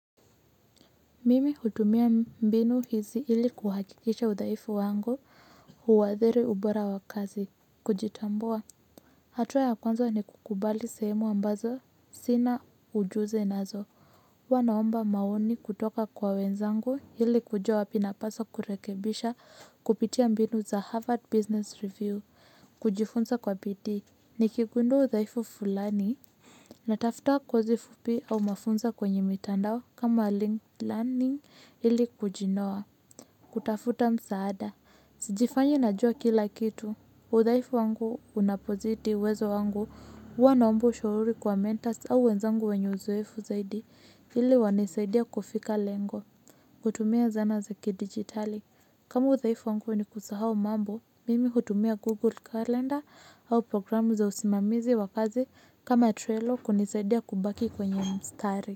Mimi hutumia mbinu hizi hili kuhakikisha udhaifu wangu huwadhiri ubora wa kazi kujitambua. Hatua ya kwanza ni kukubali sehemu ambazo sina ujusi nazo. Wanaomba maoni kutoka kwa wenzangu hili kujua wapi napasa kurekebisha kupitia mbinu za harvard business review kujifunza kwa bidii ni kigundo udhaifu fulani. Na tafuta kozi fupi au mafunza kwenye mitandao kama link learning ili kujinoa. Kutafuta msaada. Sijifanyi najua kila kitu. Udhaifu wangu unapozidi wezo wangu huwanaombo shauri kwa mentors au wenzangu wenye uzoefu zaidi ili wanisaidia kufika lengo. Kutumia zana za kidigitali. Kama udhaifu wangu ni kusahau mambo mimi hutumia google calendar au program za usimamizi wa kazi kama trelo kunisadia kubaki kwenye mstari.